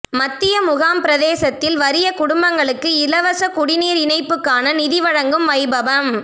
மத்தியமுகாம் பிரதேசத்தில் வறிய குடும்பங்களுக்கு இலவச குடிநீர் இணைப்புக்கான நிதி வழங்கும் வைபவம்